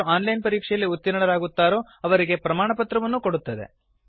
ಯಾರು ಆನ್ಲೈನ್ ಪರೀಕ್ಷೆಯಲ್ಲಿ ಉತ್ತೀರ್ಣರಾಗುತ್ತಾರೋ ಅವರಿಗೆ ಪ್ರಮಾಣಪತ್ರವನ್ನೂ ಕೊಡುತ್ತದೆ